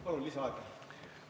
Palun lisaaega!